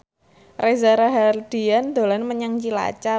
Reza Rahardian dolan menyang Cilacap